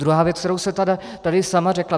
Druhá věc, kterou jste tady sama řekla.